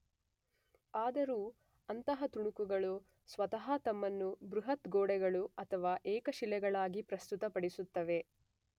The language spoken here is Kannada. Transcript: ಆದರೂ ಅಂತಹ ತುಣುಕುಗಳು ಸ್ವತಃ ತಮ್ಮನ್ನು ಬೃಹತ್ ಗೋಡೆಗಳು ಅಥವಾ ಏಕಶಿಲೆಗಳಾಗಿ ಪ್ರಸ್ತುತ ಪಡಿಸುತ್ತವೆ